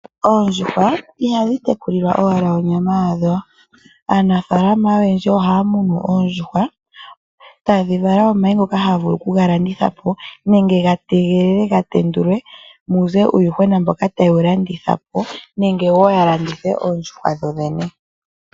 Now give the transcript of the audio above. Oondjuhwa ihadhi tekulilwa owala onyama yadho. Aanafalama oyendji ohaa munu oondjuhwa tadhi vala omayi ngoka taga vulu okuga landitha po, nenge ga tegelelwe ga tendulwe muze uuyuhwena mboka taye wu landitha po, nenge wo ya landithe oondjuhwa dho dhene.